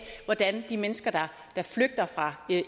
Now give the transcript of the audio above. de mennesker der flygter fra